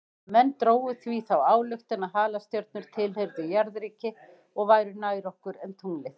Menn drógu því þá ályktun að halastjörnur tilheyrðu jarðríki og væru nær okkur en tunglið.